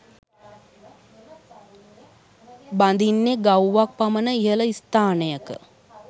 බඳින්නේ ගවුවක් පමණ ඉහළ ස්ථානයකය